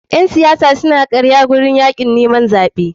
Ƴen siyasa suna karya a wurin yakin neman zaɓe.